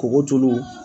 Kɔgɔjulu